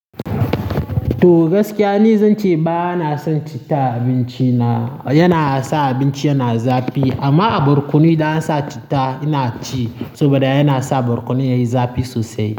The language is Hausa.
To gaskiya ne zan ce ba na son citta a abinci na, yana sa abinci yana zafi. Amma a barkono idan an sa cita ina ci saboda yana sa barkono yayi zafi sosai.